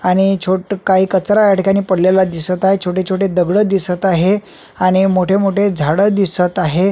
आणि छोटकाही कचरा या ठिकाणी पडलेला दिसत आहे छोटे छोटे दगड दिसत आहे आणि मोठे मोठे झाड दिसत आहे.